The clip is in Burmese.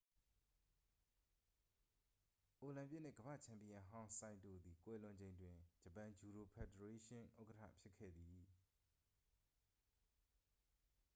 အိုလံပစ်နှင့် ကမ္ဘာ့ချန်ပီယံဟောင်း ဆိုင်တိုသည် ကွယ်လွန်ချိန်တွင် ဂျပန်ဂျူဒို ဖယ်ဒရေးရှင်း ဥက္ကဌဖြစ်ခဲ့သည်